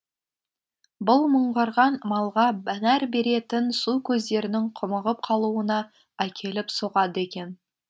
бұл мыңғырған малға нәр беретін су көздерінің құмығып қалуына әкеліп соғады екен